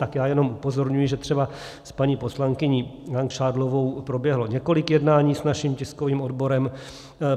Tak já jenom upozorňuji, že třeba s paní poslankyní Langšádlovou proběhlo několik jednání s naším tiskovým odborem.